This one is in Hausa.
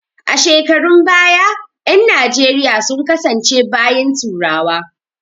A shekarun baya ƴan najeriya sun kasance bayin turawa